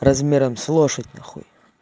размером с лошадь на хуй